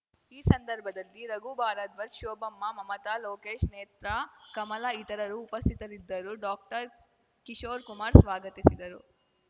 ಈ ಸಂದರ್ಭದಲ್ಲಿ ರಘು ಭಾರದ್ವಾಜ್‌ ಶೋಭಮ್ಮ ಮಮತ ಲೋಕೇಶ್‌ ನೇತ್ರ ಕಮಲ ಇತರರು ಉಪಸ್ಥಿತರಿದ್ದರು ಡಾಕ್ಟರ್ಕಿಶೋರ್‌ಕುಮಾರ್‌ ಸ್ವಾಗತಿಸಿದರು